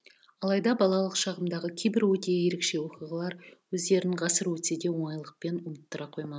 алайда балалық шағымдағы кейбір өте ерекше оқиғалар өздерін ғасыр өтсе де оңайлықпен ұмыттыра қоймаған